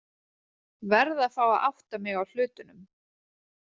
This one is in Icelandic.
Verð að fá að átta mig á hlutunum.